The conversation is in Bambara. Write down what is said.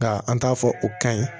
Ka an t'a fɔ o kaɲi